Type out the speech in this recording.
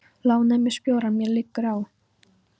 lánaðu mér sporjárn, mér liggur á.